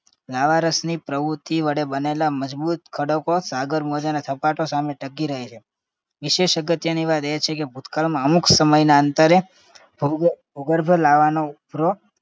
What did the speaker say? લાવારસની પ્રવૃત્તિ વડે બનેલા મજબૂત ખડકો સાગર મોજાના સપાટો સામે ટકી રહે છે. વિશેષ અગત્યની વાત એ છે કે ભૂતકાળમાં અમુક સમયના અંતરે ભૂગર્ભ ભૂગર્ભ લેવાનો ઉભરો